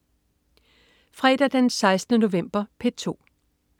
Fredag den 16. november - P2: